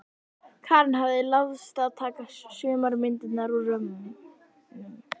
Karen hafði láðst að taka sumar myndirnar úr römmunum.